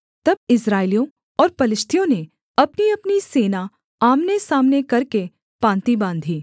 तब इस्राएलियों और पलिश्तियों ने अपनीअपनी सेना आमनेसामने करके पाँति बाँधी